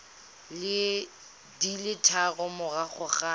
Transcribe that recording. di le tharo morago ga